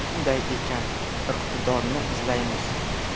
Shunday ekan, iqtidorni izlaymiz.